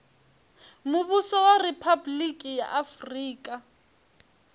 muvhuso wa riphabuliki ya afurika